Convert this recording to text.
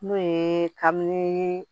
N'o ye kabini